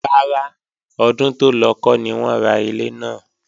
Rárá, ọdún tó lọ kọ́ ni wọ́n ra ilé náà